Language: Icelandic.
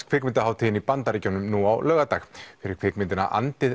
kvikmyndahátíðinni í Bandaríkjunum nú á laugardag fyrir kvikmyndina